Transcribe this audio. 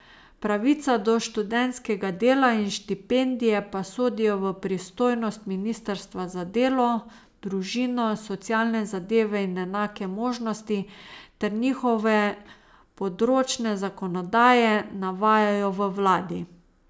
Pravica do študentskega dela in štipendije pa sodijo v pristojnost ministrstva za delo, družino, socialne zadeve in enake možnosti ter njihove področne zakonodaje, navajajo v vladi.